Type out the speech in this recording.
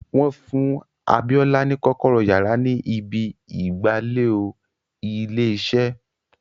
Wọ́n fún Abíọ́lá ní kọ́kọ́rọ́ yàrá ni ibi ìgbàlè ò ilé iṣẹ́